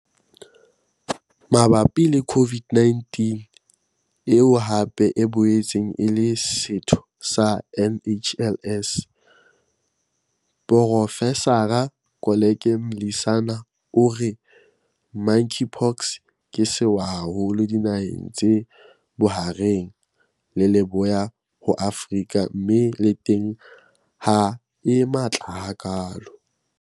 Mabapi le COVID-19, eo hape e boetseng e le setho sa NHLS, Profesara Koleka Mlisana, o re Monkeypox ke sewa haholo dinaheng tse Bohareng le Leboya ho Afrika mme le teng ha e matla hakalo.